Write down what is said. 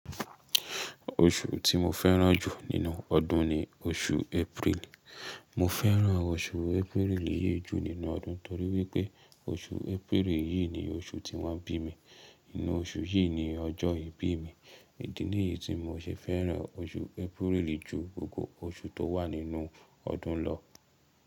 Oṣù tí mo fẹ́ràn jù nínú ọdún ni oṣù April. Mo fẹ́ràn oṣù April yìí jù nínú ọdún torí wípé oṣù April yìí ni oṣù tí wọ́n bí mi. Nínú oṣù yìí ni ọjọ́ ìbí mi. Èdè nìyí tí mo ṣe fẹ́ràn oṣù April jù gbogbo oṣù tó wà nínú ọdún lọ.